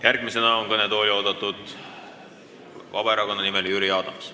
Järgmisena on kõnetooli oodatud Vabaerakonna nimel kõnelev Jüri Adams.